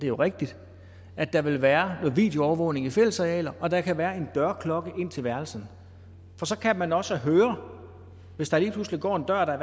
jo rigtigt at der vil være videoovervågning af fællesarealer og der kan være en dørklokke til værelset for så kan man også høre hvis der lige pludselig går en dør og der